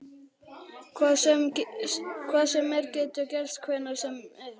Hvað sem er getur gerst hvenær sem er.